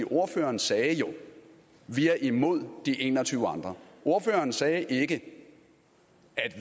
ordføreren sagde jo vi er imod de en og tyve andre ordføreren sagde ikke